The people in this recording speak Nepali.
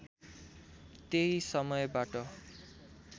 त्यही समयबाट